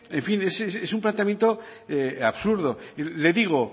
en fin es un planteamiento absurdo le digo oiga